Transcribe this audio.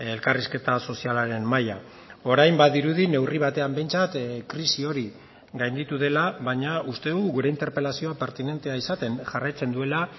elkarrizketa sozialaren mahaia orain badirudi neurri batean behintzat krisi hori gainditu dela baina uste dugu gure interpelazioa pertinentea izaten jarraitzen duela